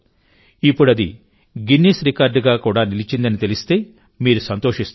ఇప్పుడు అది గిన్నిస్ రికార్డ్గా నిలిచిందని కూడా తెలిస్తే మీరు సంతోషిస్తారు